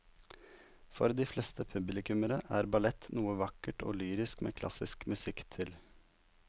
For de fleste publikummere er ballett noe vakkert og lyrisk med klassisk musikk til.